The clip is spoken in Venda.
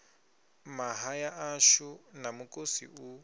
mahaḓa ashu na mukosi u